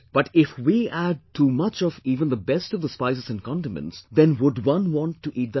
But if we add too much of even the best of the spices and condiments, then would one want to eat that food